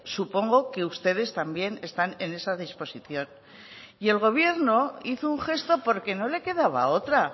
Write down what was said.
supongo que ustedes también están en esa disposición y el gobierno hizo un gesto porque no le quedaba otra